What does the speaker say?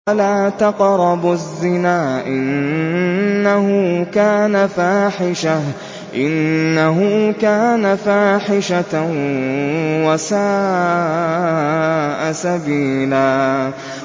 وَلَا تَقْرَبُوا الزِّنَا ۖ إِنَّهُ كَانَ فَاحِشَةً وَسَاءَ سَبِيلًا